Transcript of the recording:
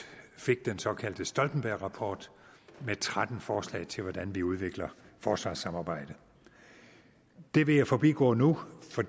fik den såkaldte stoltenbergrapport med tretten forslag til hvordan vi udvikler forsvarssamarbejdet det vil jeg forbigå nu for